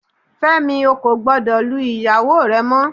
Fẹ́mi, ó kò gbọ́dọ̀ lu ìyàwó rẹ mọ